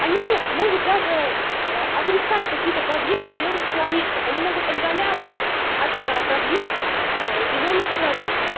они могут даже отрицать какие-то проблемы зелёных человечков они могут отдаляться от проблем зелёных человечков